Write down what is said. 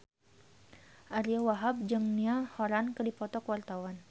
Ariyo Wahab jeung Niall Horran keur dipoto ku wartawan